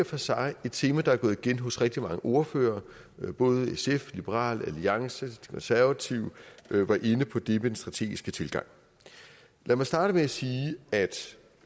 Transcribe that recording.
for sig et tema der er gået igen hos rigtig mange ordførere både sf liberal alliance de konservative var inde på det med den strategiske tilgang lad mig starte med at sige at